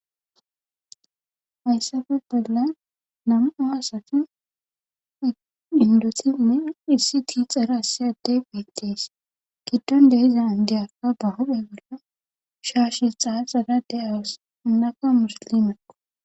hayssafe bolla nam7o asati indotinne issi ti xarassi addey geettes kidtonde hiza diyakka ba hophe bolla shaashe xaa xarade awus unakka musalimekko